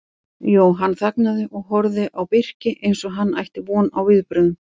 Jóhann þagnaði og horfði á Birki eins og hann ætti von á viðbrögðum.